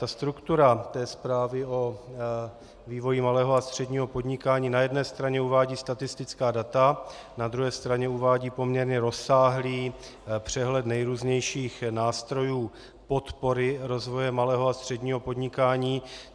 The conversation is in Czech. Ta struktura té zprávy o vývoji malého a středního podnikání na jedné straně uvádí statistická data, na druhé straně uvádí poměrně rozsáhlý přehled nejrůznějších nástrojů podpory rozvoje malého a středního podnikání.